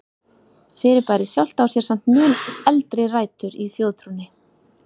Fyrirbærið sjálft á sér samt mun eldri rætur í þjóðtrúnni.